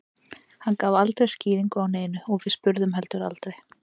Hann gaf aldrei skýringu á neinu og við spurðum heldur aldrei.